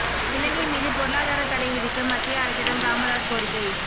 இலங்கை மீது பொருளாதார தடை விதிக்க மத்திய அரசிடம் ராமதாஸ் கோரிக்கை